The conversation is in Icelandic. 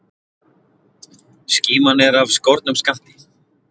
Skíman er af skornum skammti.